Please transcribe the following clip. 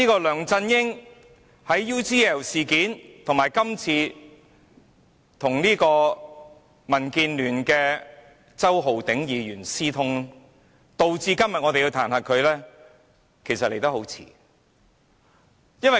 梁振英的 UGL 事件，以及他與民建聯周浩鼎議員私通，導致我們今天要彈劾他，其實彈劾來得很晚。